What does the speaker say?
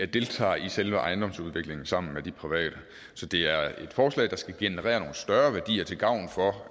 deltager i selve ejendomsudviklingen sammen med de private så det er et forslag der skal generere nogle større værdier til gavn for